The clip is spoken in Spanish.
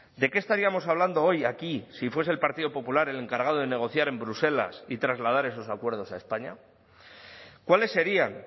de qué estaríamos hablando hoy aquí si fuese el partido popular el encargado de negociar en bruselas y trasladar esos acuerdos a españa cuáles serían